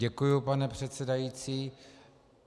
Děkuji, pane předsedající.